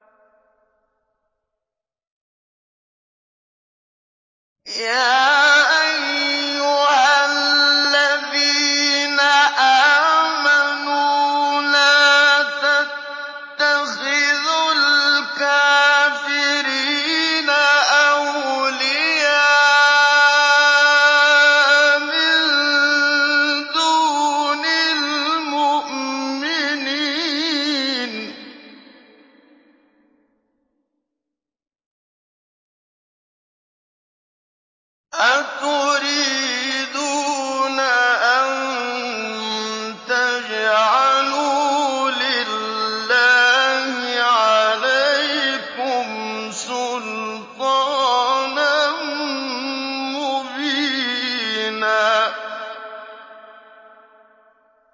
يَا أَيُّهَا الَّذِينَ آمَنُوا لَا تَتَّخِذُوا الْكَافِرِينَ أَوْلِيَاءَ مِن دُونِ الْمُؤْمِنِينَ ۚ أَتُرِيدُونَ أَن تَجْعَلُوا لِلَّهِ عَلَيْكُمْ سُلْطَانًا مُّبِينًا